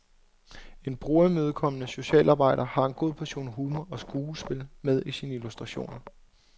En brugerimødekommende socialarbejder har en god portion humor og skuespil med i sine illustrationer.